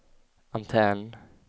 antenn